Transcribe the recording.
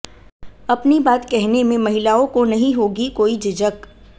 अपनी बात कहने में महिलाओं को नहीं होगी कोई झिझक